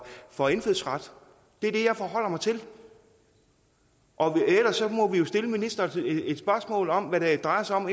for indfødsret det er det jeg forholder mig til og ellers må vi jo stille ministeren et spørgsmål om hvad det drejer sig om